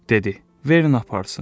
Dedi: Verin aparsın.